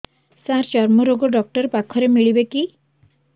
ସାର ଚର୍ମରୋଗ ଡକ୍ଟର ପାଖରେ ମିଳିବେ କି